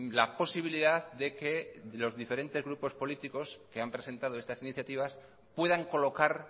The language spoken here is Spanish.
la posibilidad de que los diferentes grupos políticos que han presentado estas iniciativas puedan colocar